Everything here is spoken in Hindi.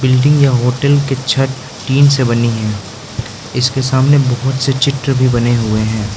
बिल्डिंग या होटल के छत टीन से बनी है इसके सामने बहुत से चित्र भी बने हुए हैं।